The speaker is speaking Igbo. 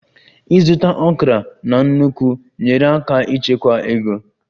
Ịzụta okra na nnukwu nyeere aka ịchekwa ego